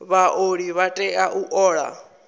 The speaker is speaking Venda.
vhaoli vha tea u ola